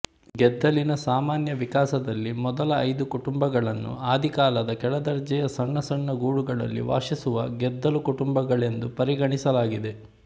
ಗೆದ್ದಲಿನ ಸಾಮಾನ್ಯವಿಕಾಸದಲ್ಲಿ ಮೊದಲ ಐದು ಕುಟುಂಬಗಳನ್ನು ಆದಿಕಾಲದ ಕೆಳದರ್ಜೆಯ ಸಣ್ಣ ಸಣ್ಣ ಗೂಡುಗಳಲ್ಲಿ ವಾಸಿಸುವ ಗೆದ್ದಲು ಕುಟುಂಬಗಳೆಂದು ಪರಿಗಣಿಸಲಾಗಿದೆ